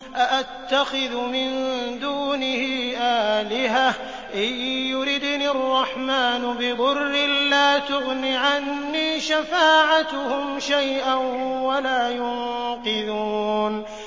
أَأَتَّخِذُ مِن دُونِهِ آلِهَةً إِن يُرِدْنِ الرَّحْمَٰنُ بِضُرٍّ لَّا تُغْنِ عَنِّي شَفَاعَتُهُمْ شَيْئًا وَلَا يُنقِذُونِ